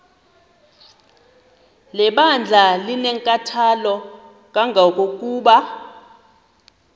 lebandla linenkathalo kangangokuba